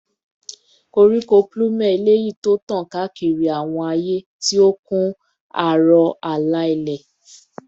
Koriko plume eleyi ti tan kaakiri awọn aaye, ti o kun aro aro ala-ilẹ